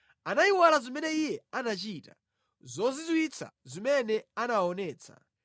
Anayiwala zimene Iye anachita, zozizwitsa zimene anawaonetsa.